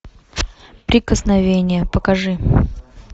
прикосновение покажи